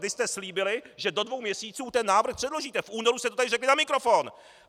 Vy jste slíbili, že do dvou měsíců ten návrh předložíte, v únoru jste to tady řekli na mikrofon.